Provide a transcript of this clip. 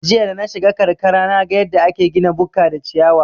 Jiya danashiga karkara naga yadda ake gina bukka da ciyawa